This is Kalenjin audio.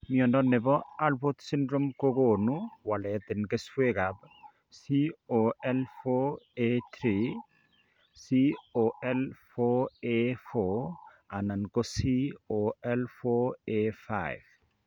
Mnyondo nebo Alport syndrome kogonu walet en keswek ab COL4A3, COL4A4 anan COL4A5